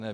Ne!